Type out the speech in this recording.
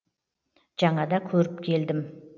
жаңада көріп келдім